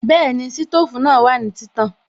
Bẹ́ẹ̀ni, sítòfù náà wà ní títàn